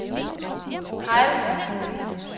Hejls